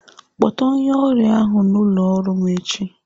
Kpọta onye ọrịa ahụ n'ụlọ ọrụ m echi!